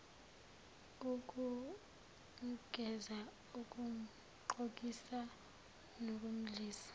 ukumgeza ukumgqokisa nokumdlisa